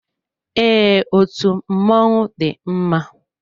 Ee, otú mmọnwụ dị mma.